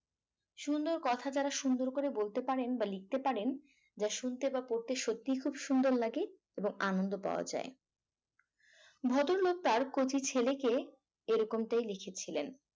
সুন্দর কথা যারা সুন্দর করে বলতে পারেন বা লিখতে পারেন যা শুনতে বা করতেই সত্যিই খুব সুন্দর লাগে এবংআনন্দ পাওয়া যায় ভদ্রলোক তার কচি ছেলেকে এরকমটাই লিখেছিলেন